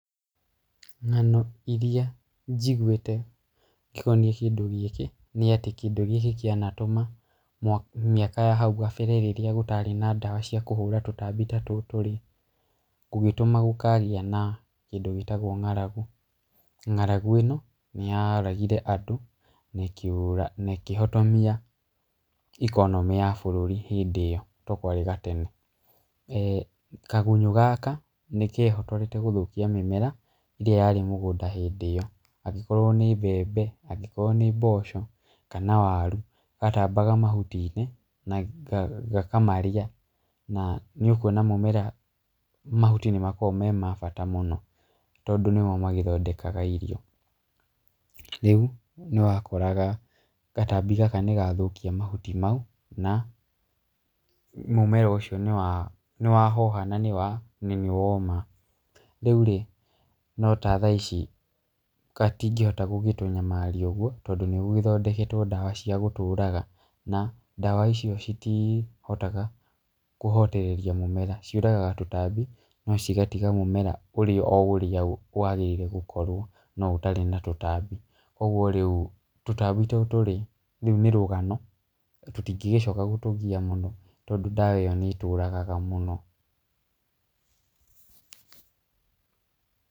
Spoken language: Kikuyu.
Ng'ano iria njiguĩte ikoniĩ kĩndũ gĩkĩ nĩ atĩ kĩndũ gĩkĩ kĩanatũma mĩaka ya nahau gabere rĩrĩa gũtarĩ na ndawa cia kũhũra tũtambi ta tũtũ rĩ, tũgĩtũma gũkagĩa na kĩndũ gĩtagwo ng'aragu. Ng'aragu ĩno nĩyoragire andũ, na ĩkĩhotomia ikonomĩ ya bũrũri hĩndĩ ĩyo tondũ kwarĩ gatene. Kagunyũ gaka nĩkehotorete gũthũkia mĩmera ĩrĩa yarĩ mĩgũnda hĩndĩ ĩyo, angĩkorwo nĩ mbembe, angĩkorwo nĩ mboco, kana waru. gatambaga mahuti-inĩ, na gakamarĩa na nĩũkuona mũmera mahuti nĩmakoragwo me mabata mũno tondũ nĩmo magĩthondekaga irio. Rĩu nĩwakoraga gatambi gaka nĩgathũkia mahuti mau na mũmera ũcio nĩwahoha nanĩwoma. Rĩurĩ, no ta thaa ici gatingĩhota gũgĩtũnyamaria ũguo, tondũ nĩgũgĩthondeketwo ndawa cia gũtũraga na ndawa icio citihotaga kũhotereria mũmera, ciũragaga tũtambi no cigatiga mũmera ũrĩ oũrĩa wagĩrĩirwo gũkorwo no ũtarĩ na tũtambi, koguo rĩu, tũtambi tũtũrĩ, rũu nĩ rũgano, tũtingĩgĩcoka gũtũgia mũno, tondũ ndawa ĩyo nĩĩtũragaga mũno.